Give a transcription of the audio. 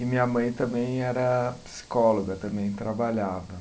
E minha mãe também era psicóloga, também trabalhava.